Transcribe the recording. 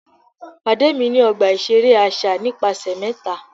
Pade mi ni ọgba iṣere aṣa nipasẹ mẹta!